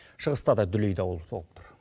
шығыста да дүлей дауыл соғып тұр